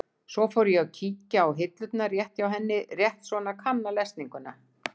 Svo ég fór að kíkja í hillurnar hjá henni, rétt svona að kanna lesninguna.